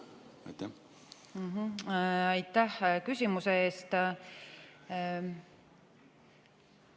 Aitäh küsimuse eest!